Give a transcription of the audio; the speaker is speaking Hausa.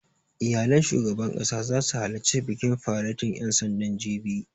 Iyalan shugaban ƙasa zasu halarci bikin faretin ƴan sandan, jibi